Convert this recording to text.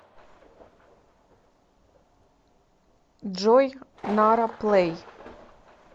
джой нара плэй